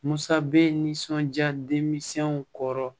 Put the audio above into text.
Musa bɛ nisɔnja denmisɛnw kɔrɔ